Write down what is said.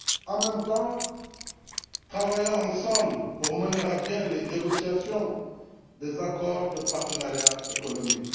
En même temps, travaillons ensemble pour mener à bien les négociations des accords de partenariat économique.